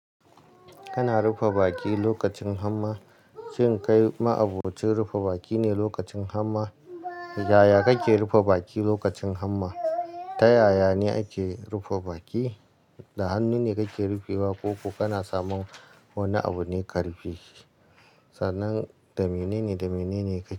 Kana rufe baki lokacin hamma? Shin kai ma'abocin rufe baki ne lokacin hamma? Yaya kake rufe baki lokacin hamma? Ta yaya ne ake rufe baki? Da hannu ne kake rufewa ko ko kana samun wani abune ka rufe shi? Sannan da menene, da menene ka.